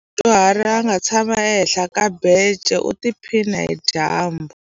Ku na mudyuhari a nga tshama ehenhla ka bence u tiphina hi dyambu.